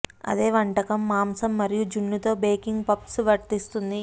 అదే వంటకం మాంసం మరియు జున్ను తో బేకింగ్ పఫ్స్ వర్తిస్తుంది